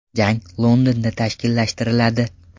Jang Londonda tashkillashtiriladi.